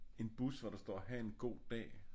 En bus hvor der står ha' en god dag